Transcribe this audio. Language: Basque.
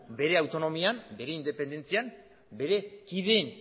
bere autonomian bere independentzian bere kideen